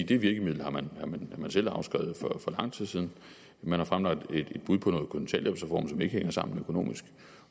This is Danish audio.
det virkemiddel har man selv afskrevet for lang tid siden man har fremlagt et bud på noget kontanthjælpsreform som ikke hænger sammen økonomisk